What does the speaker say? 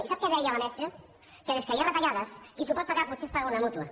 i sap què deia la mestra que des que hi ha retallades qui s’ho pot pagar potser es paga una mútua